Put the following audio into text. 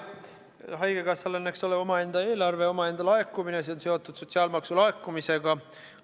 Haigekassal on omaenda eelarve ja omaenda laekumine, mis on seotud sotsiaalmaksu laekumisega.